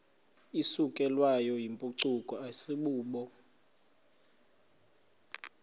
isukelwayo yimpucuko asibubo